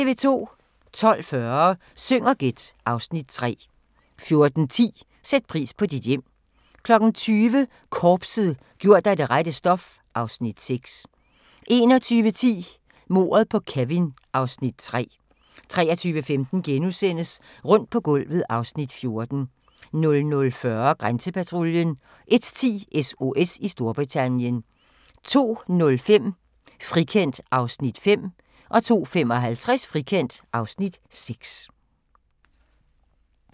12:40: Syng og gæt (Afs. 3) 14:10: Sæt pris på dit hjem 20:00: Korpset - gjort af det rette stof (Afs. 6) 21:10: Mordet på Kevin (Afs. 3) 23:15: Rundt på gulvet (Afs. 14)* 00:40: Grænsepatruljen 01:10: SOS i Storbritannien 02:05: Frikendt (Afs. 5) 02:55: Frikendt (Afs. 6)